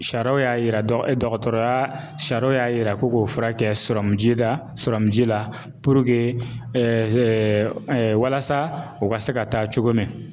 Sariyaw y'a yira dɔgɔtɔrɔya sariyaw y'a yira ko ko fura kɛ ji la ji la walasa u ka se ka taa cogo min.